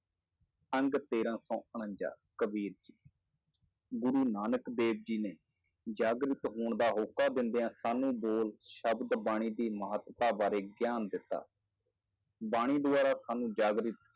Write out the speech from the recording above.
ਅੰਗ ਤੇਰਾਂ ਸੌ ਉਣੰਜਾ ਕਬੀਰ ਜੀ ਗੁਰੂ ਨਾਨਕ ਦੇਵ ਜੀ ਨੇ ਜਾਗਰਤ ਹੋਣ ਦਾ ਹੌਕਾ ਦਿੰਦਿਆਂ ਸਾਨੂੰ ਬੋਲ ਸ਼ਬਦ ਬਾਣੀ ਦੀ ਮਹੱਤਤਾ ਬਾਰੇ ਗਿਆਨ ਦਿੱਤਾ, ਬਾਣੀ ਦੁਆਰਾ ਸਾਨੂੰ ਜਾਗ੍ਰਿਤ